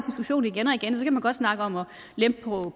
godt snakke om at lempe